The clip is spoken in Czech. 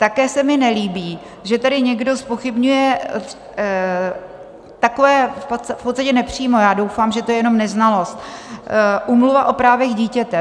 Také se mi nelíbí, že tady někdo zpochybňuje takové - v podstatě nepřímo, já doufám, že to je jenom neznalost - Úmluvu o právech dítěte.